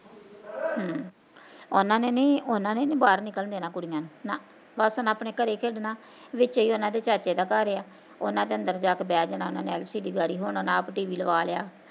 ਹਮ ਉਹਨਾਂ ਨੇ ਨੀ ਉਹਨਾਂ ਨੇ ਨੀ ਬਾਹਰ ਨਿਕਲਣ ਦੇਣਾ ਕੁੜੀਆ ਨੂੰ ਨਾ, ਬਸ ਉਹਨਾਂ ਆਪਣੇ ਘਰੇ ਖੇਡਣਾ, ਵਿਚੇ ਉਹਨਾਂ ਦੇ ਚਾਚੇ ਦਾ ਘਰ ਆ ਉਹਨਾਂ ਦੇ ਅੰਦਰ ਜਾਂ ਕੇ ਬੈ ਜਣਾ ਉਹਨਾਂ ਦੇ LCD ਹੁਣਾ ਆਪ tv ਲਵ ਲਿਆ